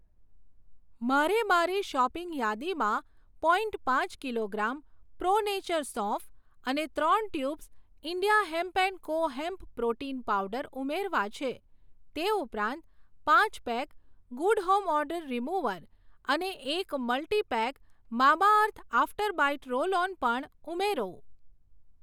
મારે મારી શોપિંગ યાદીમાં પોઇન્ટ પાંચ કિલોગ્રામ પ્રો નેચર સોંફ અને ત્રણ tubes India hemp and co hemp protein powder ઉમેરવા છે, તે ઉપરાંત પાંચ pack good home odour remover અને એક multipack Mamaearth after bite roll on પણ ઉમેરો.